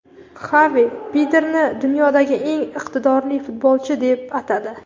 Xavi Pedrini dunyodagi eng iqtidorli futbolchi deb atadi.